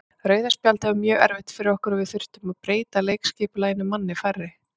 Rauða spjaldið var mjög erfitt fyrir okkur og við þurftum að breyta leikskipulaginu manni færri.